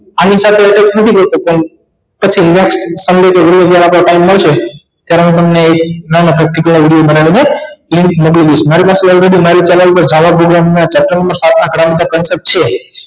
આની સાથે attach નથી કરતો પણ પછી નિરાત થી time મળશે ત્યારે હું તમને નાનકડો video બનાવી ને મોકલી દઇશ મારી પાસે already મારી channel પર સાત માં ક્રમ ઉપર છે